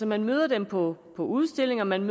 man møder dem på udstillinger man